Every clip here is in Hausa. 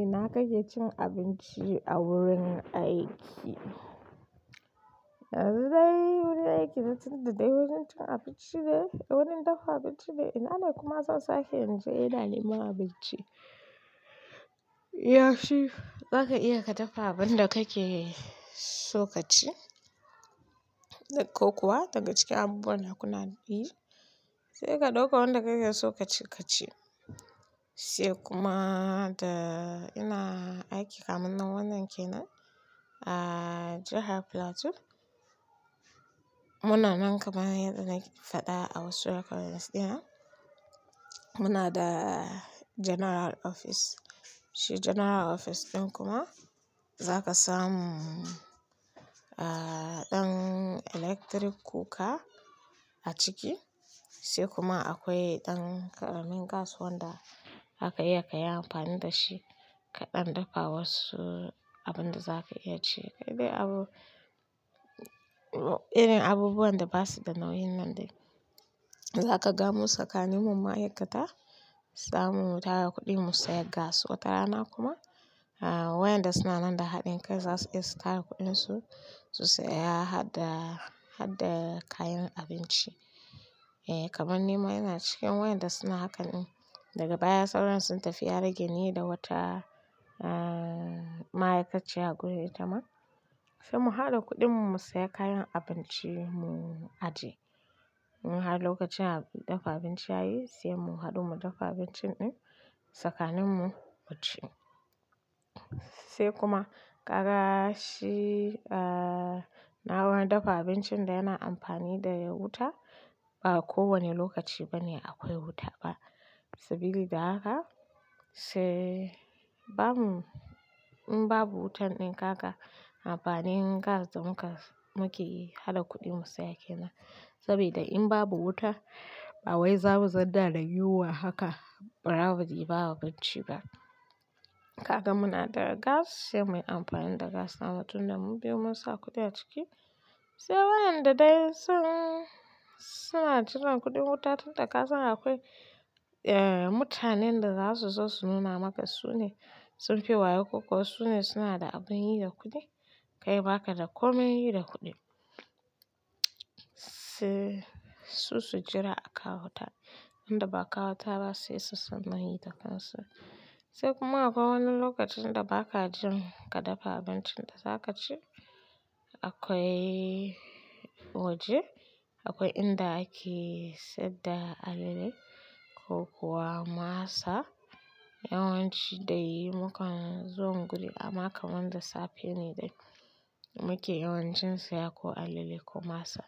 Ina kake cin abinci a wurin aiki? Yanzu dai wurin aiki na tun da dai wurin cin abinci ne, wurin dafa abinci ne. Ina ne kuma zan sake inje ina neman abinci. Yafi zaka iya ka dafa abin da kake so ka ci, ko kuwa daga cikin abubuwan da kuna bi sai ka dauka wanda kake so ka ci ka ci. Sai kuma da ina aiki kamannan wannan kenan a jahar Plateau. Muna nan kamar yadda na faɗa a wasu hakan gaskiya. Muna da General Office. Shi General Office ɗin kuma zaka samu ɗan electric cooker a ciki sai kuma akwai ɗan ƙaramin gas wanda zaka iya ka yi amfani da shi kaɗan dafa wasu abin da zaka iya ci. Kai dai abu irin abubuwan da basu da nauyin nan dai. Zaka ga mu tsakanin mu ma'aikata, samu mu tara kuɗi mu saya gas. Wata rana kuma wayanda suna nan da haɗin kai za su iya su tara kuɗinsu su saya hadda, hadda kayan abinci. Eh kaman ni ma ina cikin wayanda suna hakan ɗin, daga baya sauran sun tafi ya rage ni da wata ma'aikaciya a gurin itama. Sai mu haɗa kuɗin mu saya kayan abinci mu ajiye. In har lokacin da dafa abinci yayi, sai mu haɗu mu dafa abincin ɗin tsakanin mu, mu ci. Sai kuma ƙarashi a nawa dafa abincin da yana amfani da wuta ba kowane lokaci bane akwai wuta ba sabilida haka sai bamu in babu wutan ɗin haka amfani gas da muke yi. Haɗa kuɗin mu saya kenan saboda in babu wuta ba wai za mu zauna da yiwuwa haka. Ɓarawadi ba abinci ba. Kaga muna da gas sai muyi amfani da gas na a tunda mundai mu biyu mun sa kuɗi a ciki. Sai wayanda dai sun suna jiran kuɗin wuta tun da kasan akwai mutanen da za su zo su nuna maka su ne sunfi wayo ko kuwa su ne suna da abin yi da kuɗi. Kai baka da komai yi da kuɗin. Sai su su jira a kawo ta. Wanda ba kawo ta ba sai su sanin yi da gas. Sai kuma akwai wani lokacin da baka jin ka dafa abincin da za ka ci akwai waje akwai inda ake saida alale ko kuwa masa. Yawanci dai mukan zo guri a makon wanda safe ne dai muke yawancin saya ko alale ko masa.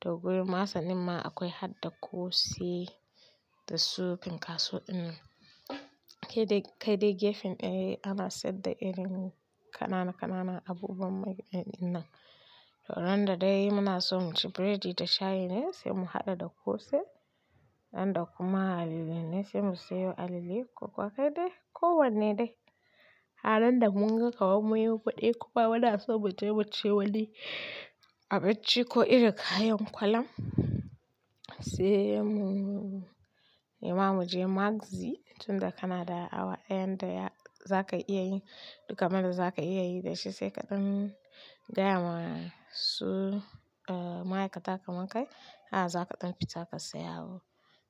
Toh gurin masan ɗinma akwai hadda kose da su finkaso ɗinnan. Kai dai gefen kane ana saida irin kanana kanana abubuwan mai ɗanɗanon. To ran da dai muna so mu ci biredi da shayi ne sai mu haɗa da kose. Ran da kuma alale ne sai mu sayo alale. Ko kuwa kai dai ko wanne dai. Har nan da mun ga kaman munyi kuɗi kuma muna so mu je mu ci wani abinci ko irin kayan kwalam. Sai mu yi ma mu je magzi tun da kana da awa ɗaya da za ka iya yi dukkan wanda za ka iya yi da shi sai kaɗan gaya ma su ma'aikata kaman kai a zaka ɗan fita ka saya abu.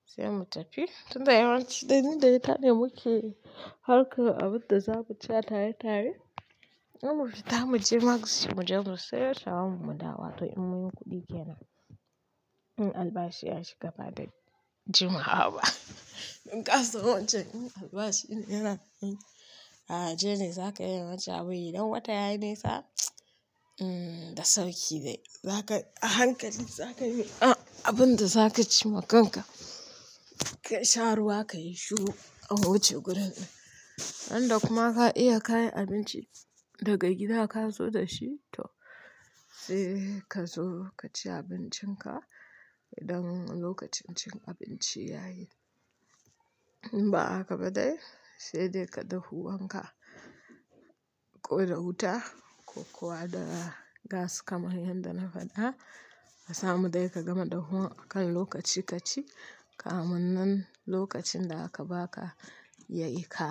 Sai mu tafi tun da yawanci dai ni dai ta ne muke harkar abun da za mu ci tare tare. In mun fita mu je magzi mu je mu sayo shawarma mu dawo to in muyi kuɗi kenan. In albashi ya shiga ba dai jima'a ba. In gas wancan albashi ne yana ajiye ne zaka iya wanci. A wuri idan wata yayi nesa da sauki dai zaka a hankali zaka yi abin da za ka ci makanka. Ka sha ruwa ka yi shuru a wuce gurin ɗin. Ran da kuma ka iya ka yi abinci daga gida ka zo da shi to sai ka zo ka ci abincin ka idan lokacin cin abinci yayi. In ba haka ba dai sai dai ka dahuwan ka koyar wuta ko kuwa da gas kamar yadda na faɗa ka samu dai ka gama dahuwa akan lokaci ka ci kamunnan lokacin da aka ba ka yayi ka.